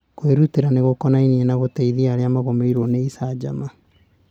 Kwĩrutĩra nĩ gũkonainie na gũteithia arĩa magũmĩirũo nĩ icanjama